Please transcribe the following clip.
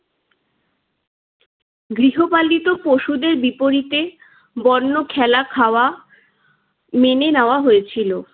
গৃহপালিত পশুদের বিপরীতে বন্য খেলা খাওয়া মেনে নেওয়া হয়েছিল।